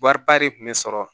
Wariba de kun be sɔrɔ